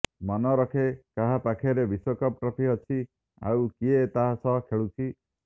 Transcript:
ମନରଖେ କାହା ପାଖରେ ବିଶ୍ବକପ୍ ଟ୍ରଫି ଅଛି ଆଉ କିଏ ତାହା ସହ ଖେଳୁଛି